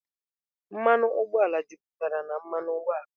Mmanụ ụgbọala juputara na mmanụ ụgbọala.